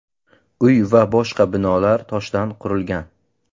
Uy va boshqa binolar toshdan qurilgan.